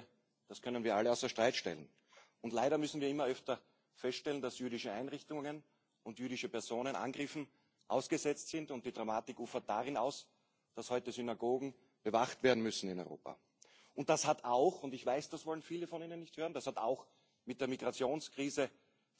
Ich denke, das können wir alle außer Streit stellen. Und leider müssen wir immer öfter feststellen, dass jüdische Einrichtungen und jüdische Personen Angriffen ausgesetzt sind und die Dramatik ufert darin aus, dass heute Synagogen in Europa bewacht werden müssen. Das hat auch und ich weiß, dass wollen viele von ihnen nicht hören mit der Migrationskrise